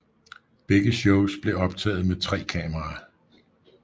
Begge shows blev optaget med tre kameraer